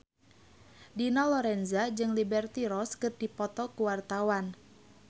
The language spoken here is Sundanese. Dina Lorenza jeung Liberty Ross keur dipoto ku wartawan